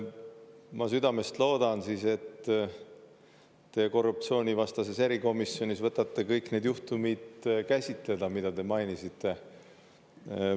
Ma südamest loodan siis, et te korruptsioonivastases erikomisjonis võtate kõik need juhtumid käsitleda, mida te mainisite.